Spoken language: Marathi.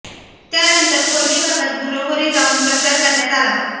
त्यानंतर खोर्ली भागात घरोघरी जाऊन प्रचार करण्यात आला